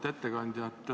Auväärt ettekandja!